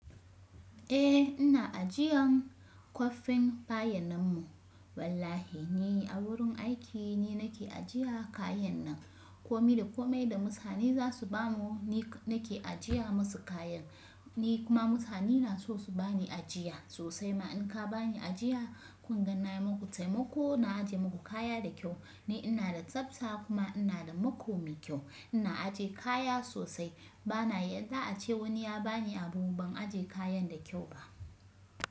Eh ina ajiyan kwafin bayanan mu wallahi ni a wurin aiki ne nake ajiya kayan nan. Komi da kome da mutane za su bamu ni nake ajiya musu kayan, ni kuma mutane na so su bani ajiya sosai. Ma in ka bani ajiya kun gan nayi muku taimako na ajiye muku kaya da kyau. Ni ina da tsabta kuma ina da makome kyau. Ina ajiye kaya sosai bana yadda a ce wani ya bani abu ban ajiye kayan da kyau ba.